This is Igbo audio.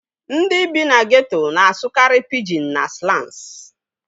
Ndị bi na geeto na-asụkarị pijin na slans